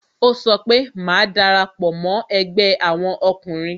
Ó sọ pé "Má darapo mo ẹgbẹ́ àwọn ọkùnrin